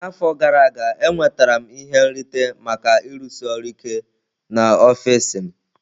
N'afọ gara aga, enwetara m ihe nrite maka ịrụsi ọrụ ike n'ọfịs m.